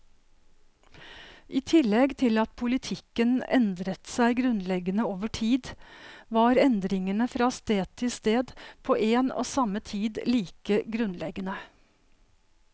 I tillegg til at politikken endret seg grunnleggende over tid, var endringene fra sted til sted på en og samme tid like grunnleggende.